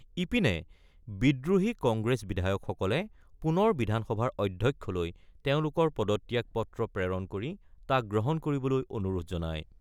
ইপিনে বিদ্ৰোহী কংগ্ৰেছ বিধায়কসকলে পুনৰ বিধানসভাৰ অধ্যক্ষলৈ তেওঁলোকৰ পদত্যাগ পত্ৰ প্ৰেৰণ কৰি তাক গ্ৰহণ কৰিবলৈ অনুৰোধ জনায়।